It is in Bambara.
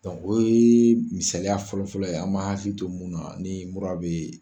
o ye misaliya fɔlɔfɔlɔ ye an b'a hakili to mun na nin mura bɛ.